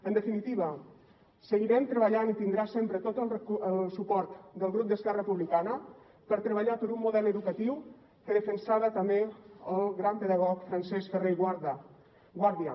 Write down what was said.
en definitiva seguirem treballant i tindrà sempre tot el suport del grup d’esquerra republicana per treballar per un model educatiu que defensava també el gran pedagog francesc ferrer i guàrdia